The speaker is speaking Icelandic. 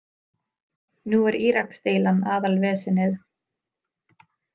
Nú er Íraksdeilan aðalvesenið.